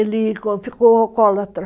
Ele ficou alcoólatra.